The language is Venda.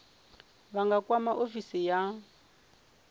vha nga kwama ofisi ya